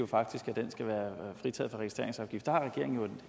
faktisk at den skal være fritaget for registreringsafgift har regeringen jo